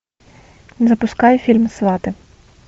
запускай фильм сваты